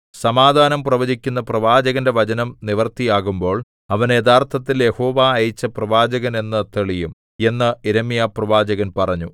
സമാധാനം പ്രവചിക്കുന്ന പ്രവാചകന്റെ വചനം നിവൃത്തിയാകുമ്പോൾ അവൻ യഥാർഥത്തിൽ യഹോവ അയച്ച പ്രവാചകൻ എന്ന് തെളിയും എന്ന് യിരെമ്യാപ്രവാചകൻ പറഞ്ഞു